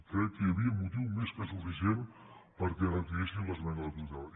crec que hi havia motiu més que suficient perquè retiressin l’esmena a la totalitat